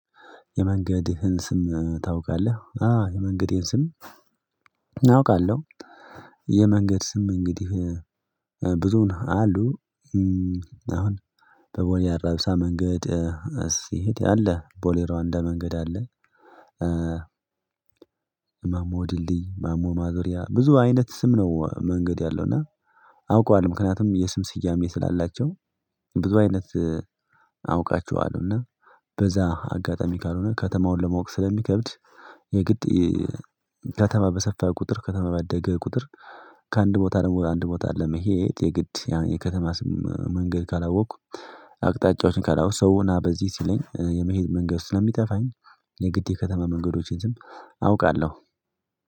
የመንገድህን ስም ታውቃለህ? አ የመንገዴን ስም አውቃለሁ። የመንገድ ስም እንግዲህ ብዙውን አሉ አሁን በቦሌ አራብሳ መንገድ ስሄድ አለ ቦሌ ሮዋንዳ መንገድ አለ፤። ማሞ ድልድይ ማሞ ማዞሪያ ብዙ አይነት ስም ነው መንገድ ያለው እና አውቀዋል ምክንያቱም የስም ስያሜ ስላላቸው ብዙ አይነት አውቃቸዋለሁና በዛ አጋጣሚ ካልሆነ ከተማውን ለማወቅ ስለሚከብድ። የግድ ከተማ በሰፋ ቁጥር ከተማ ባደገ ቁጥር ከአንድ ቦታ ደግሞ አንድ ቦታ ለመሄድ የግድ የከተማ ስም መንገድ ካላወቅኩ አቅጣጫዎችን ካላወቅኩ ሰውና በዚህ ሲለኝ የመሄድ መንገድ ስለሚጠፋኝ የግድ የከተማ መንገዶችን ዝም አውቃለሁ።